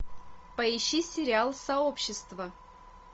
поищи сериал сообщество